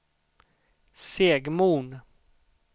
Segmon